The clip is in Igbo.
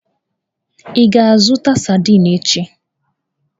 Ị ga-azụta sadin echi?